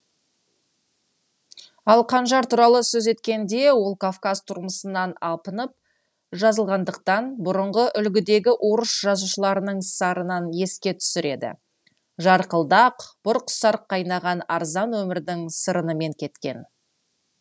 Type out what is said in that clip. ал қанжар туралы сөз еткенде ол кавказ тұрмысынан апынып жазылғандықтан бұрынғы үлгідегі орыс жазушыларының сарынын еске түсіреді жарқылдақ бұрқ сарқ кайнаған арзан өмірдің сырынымен кеткен